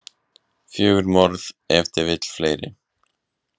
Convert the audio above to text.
Fjögur morð, ef til vill fleiri.